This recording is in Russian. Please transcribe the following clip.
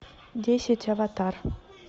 десять аватар